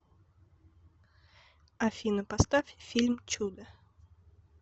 афина поставь фильм чудо